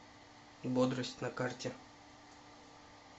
бодрость на карте